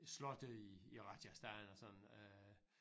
Slotte i i Rajasthan og sådan øh